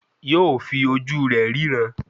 Yóò fi ojú rẹ̀ ríran